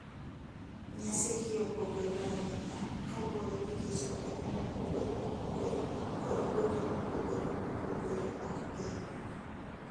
Nyasi gi opogore ahinya kaluwore gi kit oganda mopogore opogore kod kuonde mopogore opogore mag piny,